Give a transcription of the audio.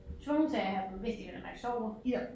Tvunget til at have dem hvis de vel at mærke sover